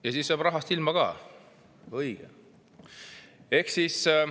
Ja siis jääb rahast ilma ka, õige!